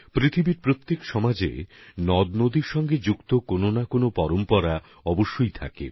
বিশ্বের প্রত্যেক সমাজেই নদীর সঙ্গে জুড়ে থাকা কোন না কোন ঐতিহ্য অবশ্যই থাকে